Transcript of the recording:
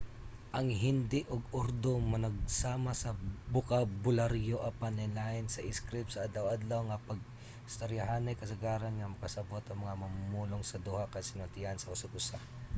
ang hindi ug urdu managsama sa bokabularyo apan lainlain sa iskrip; sa adlaw-adlaw nga pag-istoryahanay kasagaran nga makasabot ang mga mamumulong sa duha ka sinultian sa usag usa